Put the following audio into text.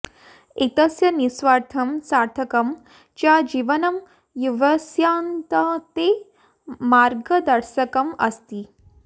एतस्य निस्वार्थं सार्थकं च जीवनं युवसन्ततेः मार्गदर्शकम् अस्ति